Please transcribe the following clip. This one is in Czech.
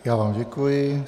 Já vám děkuji.